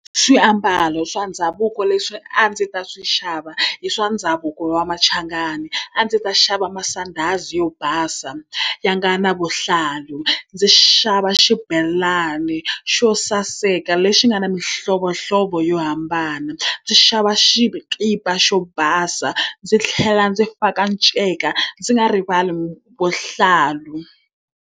Swiambalo swa ndhavuko leswi a ndzi ta swi xava hi swa ndhavuko wa machangani. A ndzi ta xava masandhazi yo basa ya nga na vuhlalu, ndzi xava xibelani ni xo saseka lexi nga na mihlovohlovo yo hambana, ndzi xava xikipa xo basa, ndzi tlhela ndzi faka nceka ndzi nga rivali vuhlalu.